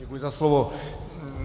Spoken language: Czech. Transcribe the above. Děkuji za slovo.